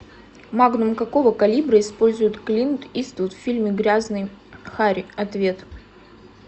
магнум какого калибра использует клинт иствуд в фильме грязный хари ответ